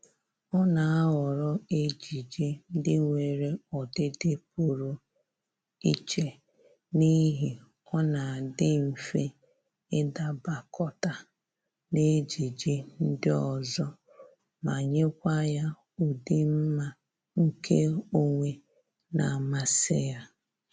Ọ na-ahọrọ ejiji ndị nwere ọdịdị pụrụ iche n'ihi ọ na-adị mfe ịdabakọta n'ejiji ndị ọzọ ma nyekwa ya ụdị mma nke onwe na-amasị ya